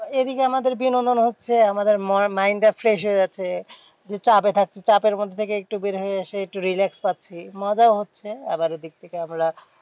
এদিকে আমাদের বিনোদন হচ্ছে আমাদের mind টা fresh হয়ে যাচ্ছে যে চাপে থাকছি। চাপের মধ্যে থেকে একটু বের হয়ে এসে একটু relax পাচ্ছি। মজাও হচ্ছে আবার এদিক থেকে আমরা